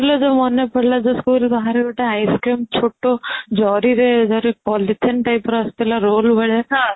ବାହାରେ ଯୋଉ ମାନେ ପଡିଲା school ବାହାରେ ଗୋଟେ ice cream ଛୋଟ ଜାରିରେ ଧର ପଲିଥିନ typeର ଆସୁଥିଲା roll ଭଳିଆ